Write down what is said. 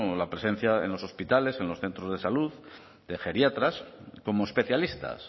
la presencia en los hospitales en los centros de salud de geriatras como especialistas